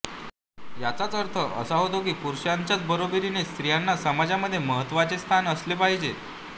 याचाच अर्थ असा होता की पुरुषांच्या बरोबरीने स्त्रियांना समाजामध्ये महत्त्वाचे स्थान असले पाहिजे